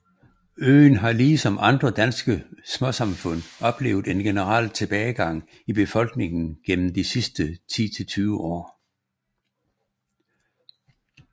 Øen har ligesom andre danske småsamfund oplevet en generel tilbagegang i befolkningen gennem de sidste 10 til 20 år